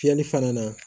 Fiyɛli fana na